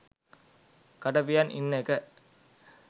කට පියන් ඉන්න එක